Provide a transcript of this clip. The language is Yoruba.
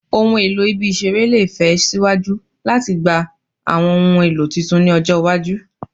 Ohun elo ibi-iṣere le fe siwaju latigba awọn ohun elo tuntun ni ọjọ iwaju